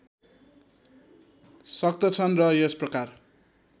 सक्तछन् र यसप्रकार